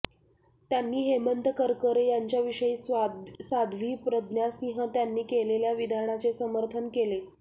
त्यांनी हेमंत करकरे यांच्याविषयी साध्वी प्रज्ञासिंह यांनी केलेल्या विधानाचे समर्थन केले